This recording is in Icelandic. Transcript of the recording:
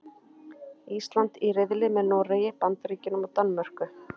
Ísland er í riðli með Noregi, Bandaríkjunum og Danmörku.